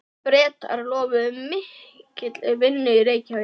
Bretar lofuðu mikilli vinnu í Reykjavík.